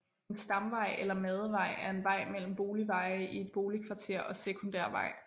En stamvej eller madevej er en vej mellem boligveje i et boligkvarter og sekundærvej